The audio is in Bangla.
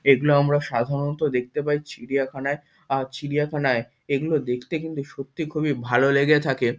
এগুলো আমরা সাধারণত দেখতে পাই চিড়িয়াখানায় আর চিড়িয়াখানায় এগুনো দেখতে কিন্তু সত্যি খুবই ভালো লেগে থাকে।